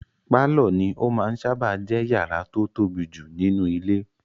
Pálọ̀ ní ó máa n sáábà jẹ́ yàrá tó tóbi jù nínú ilé